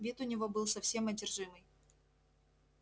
вид у него был совсем одержимый